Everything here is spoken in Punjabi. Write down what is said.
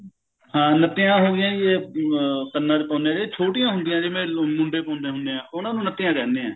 ਹਾਂ ਨੱਤੀਆਂ ਹੋਗੀਆਂ ਜੀ ਅਮ ਕੰਨਾ ਚ ਪਾਉਂਦੇ ਹਾਂ ਛੋਟੀਆਂ ਹੁੰਦੀਆ ਜਿਵੇਂ ਮੁੰਡੇ ਪਾਉਂਦੇ ਹੁੰਦੇ ਆ ਉਹਨਾਂ ਨੂੰ ਨੱਤੀਆਂ ਕਹਿੰਦੇ ਆ